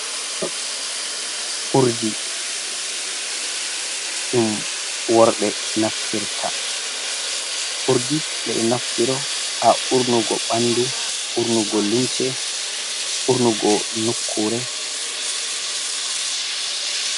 Urɗi ɗum worɓe naftirta, urɗi ɓe ɗo naftiro ha urnugo ɓanɗu, urnugo lumce urnugo nukkure.